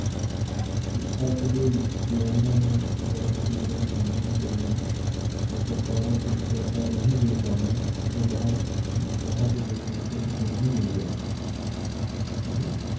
ਕਿ ਅੱਜ ਦੇ ਜਵਾਨਾਂ ਨੂੰ ਜਾਂ ਅੱਜ ਦੇ ਜਿਹੜੇ ਕਿਸਾਨਾਂ ਨੂੰ ਜਿਹੜੀਆਂ ਹੈ, ਉਹ ਸਰਕਾਰਾਂ ਕੁਛ ਐਸਾ ਨਹੀਂ ਦੇ ਪਾ ਰਹੀਆਂ ਜੋ ਬਾਹਰ, ਬਾਹਰ ਦੇ ਦੇਸਾਂ ਵਿੱਚ ਕਿਸਾਨਾਂ ਨੂੰ ਮਿਲ ਰਿਹਾ ਹੈ ਠੀਕ ਹੈ